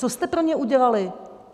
Co jste pro ně udělali?